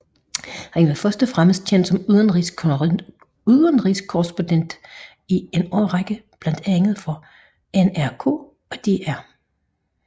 Han var først og fremmest kendt som udenrigskorrespondent i en årrække for blandt andet NRK og DR